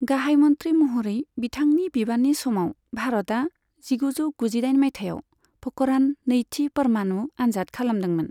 गाहाय मन्थ्रि महरै बिथांनि बिबाननि समाव, भारतआ जिगुजौ गुजिदाइन माइथायाव प'खरान नैथि परमाणु आनजाद खालामदोंमोन।